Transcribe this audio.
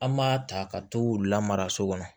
An m'a ta ka t'u lamaraso kɔnɔ